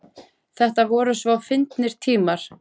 Þetta voru svo fyndnir tímar.